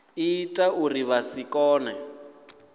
ita uri vha si kone